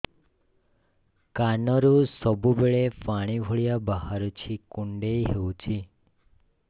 କାନରୁ ସବୁବେଳେ ପାଣି ଭଳିଆ ବାହାରୁଚି କୁଣ୍ଡେଇ ହଉଚି